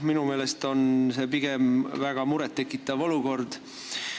Minu meelest on see pigem väga muret tekitav olukord.